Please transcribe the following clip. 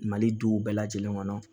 Mali duw bɛɛ lajɛlen kɔnɔ